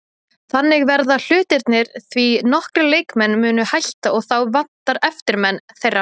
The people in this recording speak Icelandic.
Þannig verða hlutirnir því nokkrir leikmenn munu hætta og þá vantar eftirmenn þeirra.